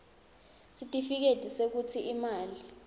sitifiketi sekutsi imali